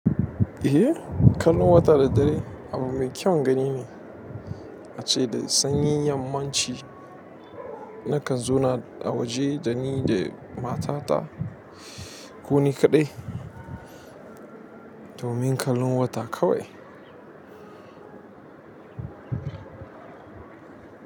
Eh, kallon wata da dare abua mai kyan gani ne, ace da sanyin yamman ci. Nakan zauna a waje da ni da matata ko ni kaɗai domin kallon wata kawai.